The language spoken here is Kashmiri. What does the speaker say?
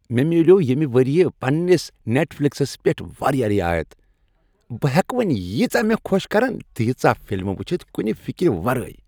مےٚ میلیوو ییٚمہ ؤریہ پنٛنس نٹفلکسس پیٹھ واریاہ رعایت۔ بہٕ ہیکہٕ وۄنۍ ییٖژاہ مےٚ خۄش کرن تیژاہ فلمہٕ وٕچھتھ کنہ فکر ورٲے۔